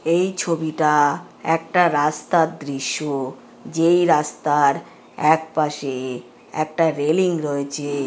এই ছবিটা-আ একটা রাস্তার দৃশ্য। যেই রাস্তার একপাশে একটা রেলিং রয়েছে-এ-এ ।